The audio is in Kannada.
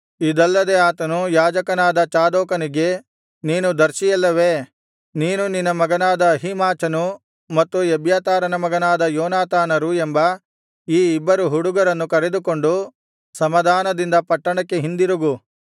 ಇದಲ್ಲದೆ ಆತನು ಯಾಜಕನಾದ ಚಾದೋಕನಿಗೆ ನೀನು ದರ್ಶಿಯಲ್ಲವೇ ನೀನು ನಿನ್ನ ಮಗನಾದ ಅಹೀಮಾಚನು ಮತ್ತು ಎಬ್ಯಾತಾರನ ಮಗನಾದ ಯೋನಾತಾನರು ಎಂಬ ಈ ಇಬ್ಬರು ಹುಡುಗರನ್ನು ಕರೆದುಕೊಂಡು ಸಮಾಧಾನದಿಂದ ಪಟ್ಟಣಕ್ಕೆ ಹಿಂದಿರುಗು